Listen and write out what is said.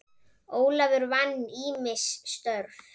Ólafur vann ýmis störf.